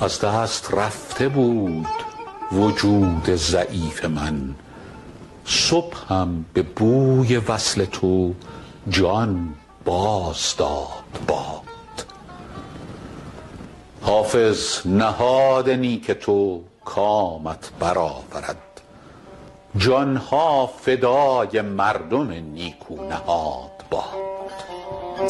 از دست رفته بود وجود ضعیف من صبحم به بوی وصل تو جان باز داد باد حافظ نهاد نیک تو کامت بر آورد جان ها فدای مردم نیکو نهاد باد